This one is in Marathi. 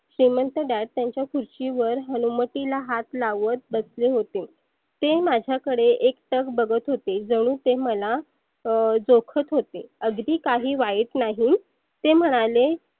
श्रिमंत Dad त्यांच्या खुर्चीवर हनुवटीला हात लावत बसले होते. ते माझ्याकडे एकटक बघत होते जणु ते मला अं चोखत होते. अगदी काही वाईट नाही ते म्हणाले